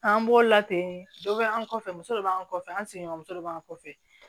An b'o late dɔ bɛ an kɔfɛ muso dɔ b'an kɔfɛ an seginɔ muso dɔ b'an kɔfɛ